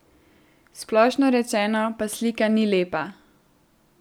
Splošno rečeno pa slika ni lepa.